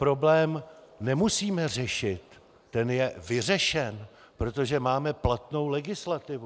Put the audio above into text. Problém nemusíme řešit, ten je vyřešen, protože máme platnou legislativu.